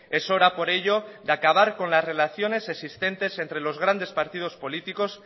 es hora por ello de acabar con las relaciones existentes entre los grandes partidos políticos